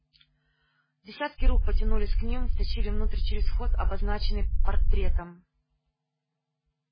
десятки рук потянулись к ним и втащили внутрь через вход обозначенный портретом